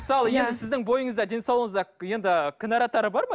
мысалы сіздің бойыңызда денсаулығыңызда енді ы кінәраттары бар ма